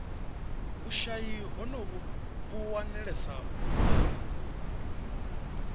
vhushayi honovhu vhu wanalesa vhuponi